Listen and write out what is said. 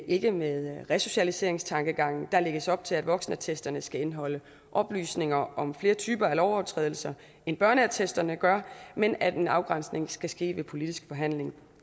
ikke med resocialiseringstankegangen der lægges op til at voksenattesterne skal indeholde oplysninger om flere typer af lovovertrædelser end børneattesterne gør men at en afgrænsning skal ske ved politisk forhandling